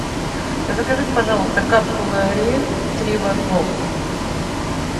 закажите пожалуйста капсулы ариэль три в одном